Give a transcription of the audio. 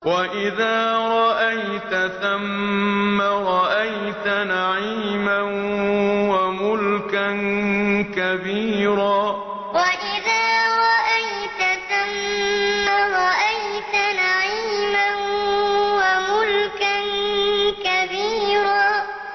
وَإِذَا رَأَيْتَ ثَمَّ رَأَيْتَ نَعِيمًا وَمُلْكًا كَبِيرًا وَإِذَا رَأَيْتَ ثَمَّ رَأَيْتَ نَعِيمًا وَمُلْكًا كَبِيرًا